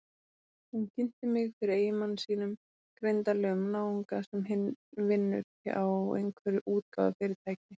Hún kynnti mig fyrir eiginmanni sínum, greindarlegum náunga sem vinnur hjá einhverju útgáfufyrirtæki.